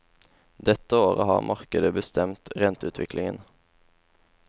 Dette året har markedet bestemt renteutviklingen.